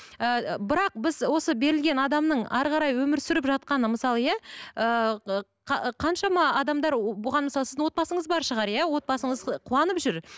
ыыы бірақ біз осы берілген адамның әрі қарай өмір сүріп жатқаны мысалы иә ыыы қаншама адамдар бұған мысалы сіздің отбасыңыз бар шығар иә отбасыңыз қуанып жүр